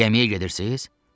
Gəmiyə gedirsiz?